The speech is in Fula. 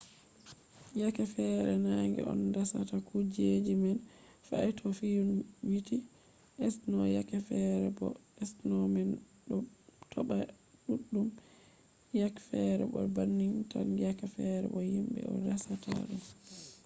yake fere nange on dasata kuje man fe’a to fiyouniti sno yake fere bo sno man ɗo toɓa ɗuɗɗum yake fere bo banning tan yake fere bo himɓe on dasata ɗum